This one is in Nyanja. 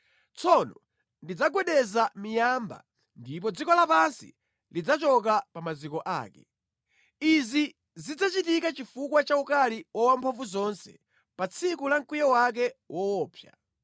Tsono ndidzagwedeza miyamba ndipo dziko lapansi lidzachoka pa maziko ake. Izi zidzachitika chifukwa cha ukali wa Wamphamvuzonse pa tsiku la mkwiyo wake woopsa.